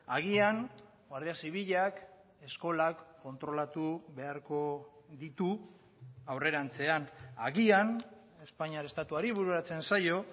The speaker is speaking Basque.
agian guardia zibilak eskolak kontrolatu beharko ditu aurrerantzean agian espainiar estatuari bururatzen zaio